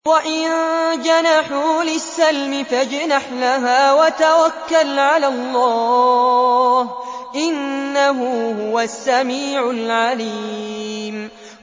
۞ وَإِن جَنَحُوا لِلسَّلْمِ فَاجْنَحْ لَهَا وَتَوَكَّلْ عَلَى اللَّهِ ۚ إِنَّهُ هُوَ السَّمِيعُ الْعَلِيمُ